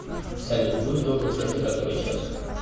салют будь добр скажи который час